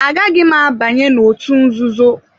Agaghị m abanye n'òtù nzuzo.